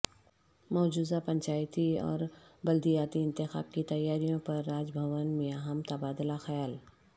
مجوزہ پنچایتی اوربلدیاتی انتخابات کی تیاریوں پرراج بھون میںاہم تبادلہ خیال